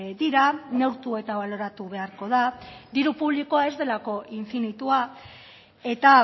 dira neurtu eta baloratu beharko da diru publikoa ez delako infinitua eta